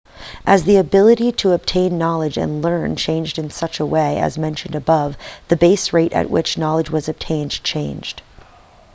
as the ability to obtain knowledge and to learn changed in such a way as mentioned above the base rate at which knowledge was obtained changed